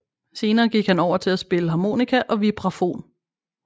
Senere gik han over til at spille harmonika og vibrafon